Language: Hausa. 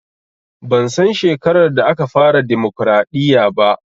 Ban san shekarar da aka fara dimokraɗiya ba